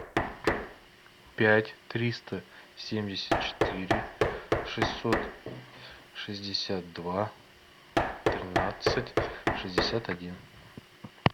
пять триста семьдесят четыре шестьсот шестьдесят два тринадцать шестьдесят один